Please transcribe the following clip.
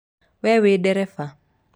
We wĩ ndereba?